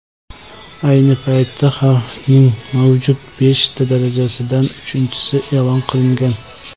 Ayni paytda xavfning mavjud beshta darajasidan uchinchisi e’lon qilingan.